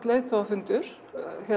leiðtogafundur